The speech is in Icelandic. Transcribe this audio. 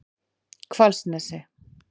Hvalsnesi